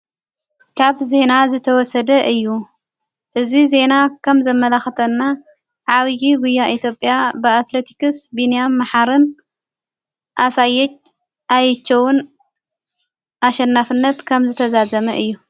ካብ ዜና ዝተወሰደ እዩ እዝ ዜና ከም ዘመላኽተና ዓውዪ ጕያ ኢቲጴያ ብኣትለቲክስ ብንያም መሓርን ኣሣየት ኣይችውን ኣሸናፍነት ከም ዝተዛዘመ እዩ።